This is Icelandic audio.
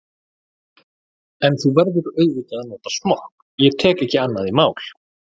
En þú verður auðvitað að nota smokk, ég tek ekki annað í mál.